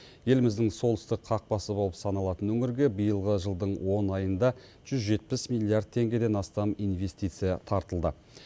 еліміздің солтүстік қақпасы болып саналатын өңірге биылғы жылдың он айында жүз жетпіс миллиард теңгеден астам инвестиция тартылды